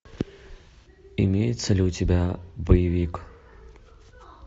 имеется ли у тебя боевик